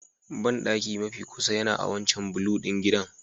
Bandaki mafi kusa yana a wancan blue ɗin gidan